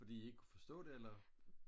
fordi I ikke kunne forstå det eller